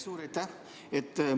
Suur aitäh!